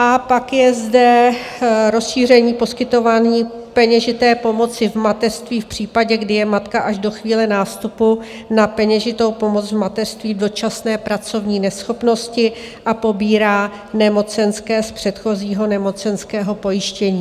A pak je zde rozšíření poskytování peněžité pomoci v mateřství v případě, kdy je matka až do chvíle nástupu na peněžitou pomoc v mateřství v dočasné pracovní neschopnosti a pobírá nemocenské z předchozího nemocenského pojištění.